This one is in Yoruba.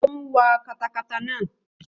Ó ń wa katakata naa